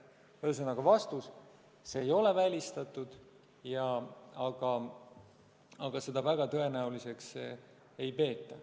Ühesõnaga vastus on, et see ei ole välistatud, aga seda väga tõenäoliseks ei peeta.